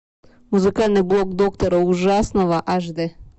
музыкальный блок доктора ужасного аш д